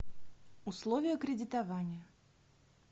условия кредитования